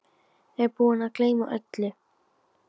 Ég er búinn að gleyma öllu!